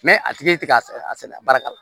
a tigi ti ka a sɛnɛ baara ka la